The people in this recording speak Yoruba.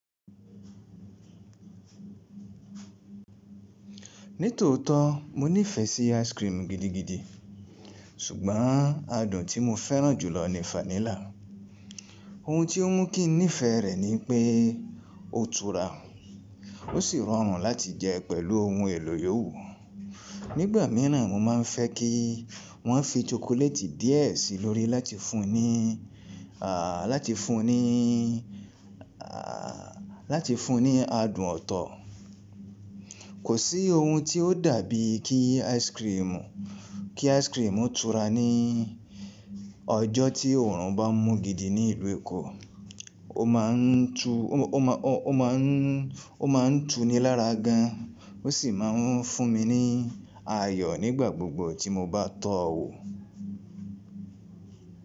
Ní tòótọ́ mo nífẹ̀ẹ́ sí ice cream gidigidi ṣùgbọ́n adùn tí mo fẹ́ràn jùlọ ni fanílà. Ohun tí ó mú kí n nífẹ̀ẹ́ rẹ̀ ni pé ó tura, ó sì rọrùn láti jẹ pẹ̀lú ohun èlò yòwu. Nígbà míràn mo máa n fẹ́ kí wọ́n fi chocolate díẹ̀ sí i lórí láti fún ni, à láti fún ni, à láti fún ni adùn ọ̀tọ̀. Kò sí ohun tí ó dàbí kí ice cream, kí ice cream ó tura ní ọjọ́ tí òòrùn bá mú gidi ní ìlú Èkó. Ó ma n tú, ó ma n, ó ma n, ó ma n tú ni lára gan, ó sì máa n fún mi ní ayọ̀ nígbà gbogbo tí mo bá tọ wò.